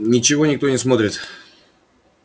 ничего никто не смотрит